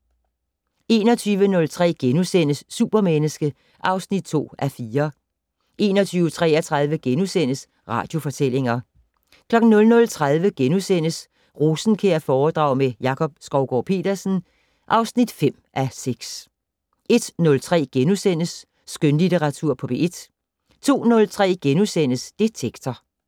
21:03: Supermenneske (2:4)* 21:33: Radiofortællinger * 00:30: Rosenkjærforedrag med Jakob Skovgaard-Petersen (5:6)* 01:03: Skønlitteratur på P1 * 02:03: Detektor *